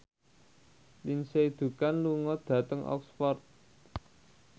Lindsay Ducan lunga dhateng Oxford